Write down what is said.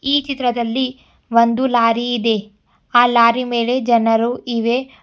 ಈ ಚಿತ್ರದಲ್ಲಿ ಒಂದು ಲಾರಿ ಇದೆ ಆ ಲಾರಿಯ ಮೇಲೆ ಜನರು ಇವೆ.